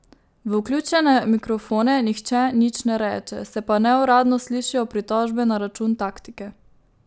V vključene mikrofone nihče nič ne reče, se pa neuradno slišijo pritožbe na račun taktike.